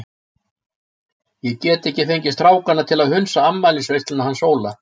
Ég get ekki fengið strákana til að hunsa afmælisveisluna hans Óla.